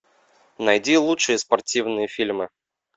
найди лучшие спортивные фильмы